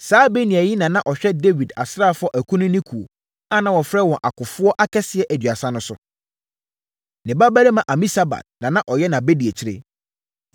Saa Benaia yi na na ɔhwɛ Dawid asraafoɔ akunini kuo, a na wɔfrɛ wɔn Akofoɔ Akɛseɛ Aduasa no so. Ne babarima Amisabad na na ɔyɛ nʼabadiakyire.